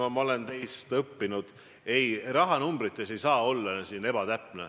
No ma olen teilt õppinud, et rahanumbrites ei tohi olla ebatäpne.